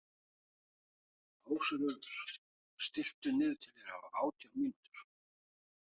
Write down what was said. Ásröður, stilltu niðurteljara á átján mínútur.